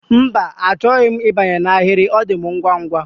Mba, achọghị m ịbanye n'ahịrị, ọ dị m ngwa ngwa